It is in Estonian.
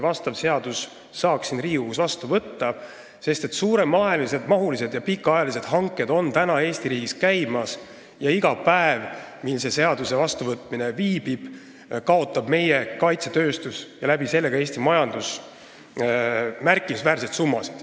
Praegu käivad Eestis suuremahulised ja pikaajalised hanked ja iga päev, kui selle seaduse vastuvõtmine viibib, kaotab meie kaitsetööstus ja ka Eesti majandus märkimisväärseid summasid.